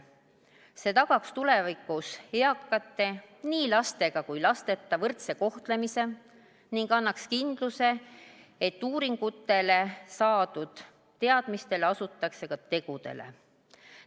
See tagaks tulevikus nii lastega kui lasteta eakate võrdse kohtlemise ning annaks kindluse, et vastavalt uuringutele ja saadud teadmistele asutatakse ka tegudele.